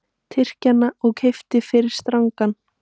Tyrkjann og keypti fyrri strangann.